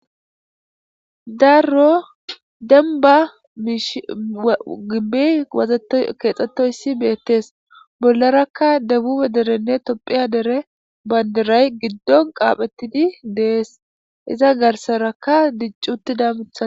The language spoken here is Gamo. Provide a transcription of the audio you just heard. Darro denba miish gibey wazkeexxettoyssi beettees bollarakka debube derenne topphiya dere baynderay giddon qaaphettidi dees iza garsarakka diccuttidamutha.